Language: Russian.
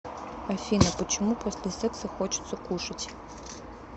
афина почему после секса хочется кушать